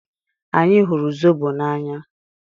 Anyị hụrụ zobo n'anya.